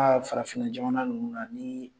A ye farafinjamana ninnu na.